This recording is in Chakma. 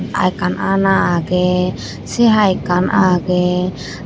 Ar ekkan aana agey sei haai ekkan agey.